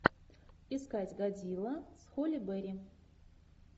искать годзилла с холли берри